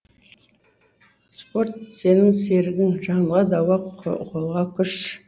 спорт сенің серігің жанға дауа қолға күш